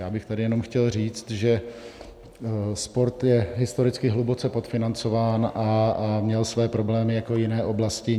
Já bych tady jenom chtěl říct, že sport je historicky hluboce podfinancován a měl své problémy jako jiné oblasti.